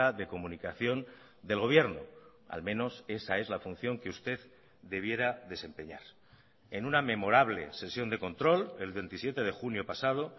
de comunicación del gobierno al menos esa es la función que usted debiera desempeñar en una memorable sesión de control el veintisiete de junio pasado